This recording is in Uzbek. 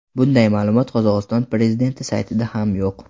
Bunday ma’lumot Qozog‘iston prezidenti saytida ham yo‘q.